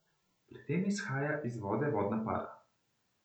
Pri tem izhaja iz vode vodna para.